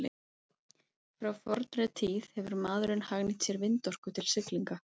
frá fornri tíð hefur maðurinn hagnýtt sér vindorku til siglinga